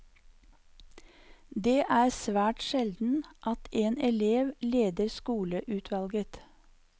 Det er svært sjelden at en elev leder skoleutvalget.